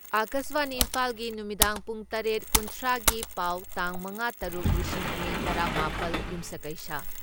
ꯑꯀꯥꯁꯕꯥꯅꯤ ꯏꯝꯐꯥꯜꯒꯤ ꯅꯨꯃꯤꯗꯥꯡ ꯄꯨꯡ ꯇꯔꯦꯠ ꯀꯨꯟꯊ꯭ꯔꯥ ꯒꯤ ꯄꯥꯎ ꯇꯥꯡ ꯃꯉꯥ ꯇꯔꯨꯛ ꯂꯤꯁꯤꯡ ꯑꯅꯤ ꯇꯔꯥ ꯃꯥꯄꯜ , ꯌꯨꯝꯁꯀꯩꯁ